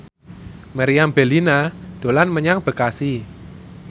Meriam Bellina dolan menyang Bekasi